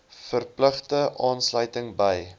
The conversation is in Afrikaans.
verpligte aansluiting by